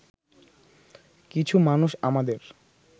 কিছু মানুষ আমাদের